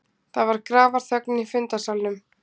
Það var grafarþögn í fundarsalnum.